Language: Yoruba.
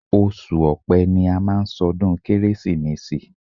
Oṣù ọpẹ́ ni a má ń ṣọdún kérésìmesì.